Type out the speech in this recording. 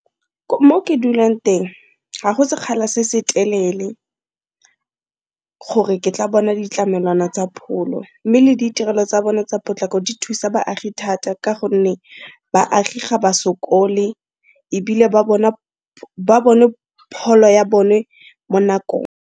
Mo ke dulang teng ga go sekgala se se telele gore ke tla bona ditlamelwana tsa pholo, mme le ditirelo tsa bone tsa potlako di thusa baagi thata ka gonne baagi ga ba sokole ebile ba bona pholo ya bone mo nakong.